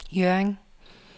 Hjørring